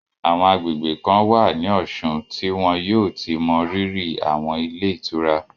Àwọn agbègbè kan wà ní Ọ̀ṣun tí wọ́n yóò ti mọ rírì àwọn ilé ìtura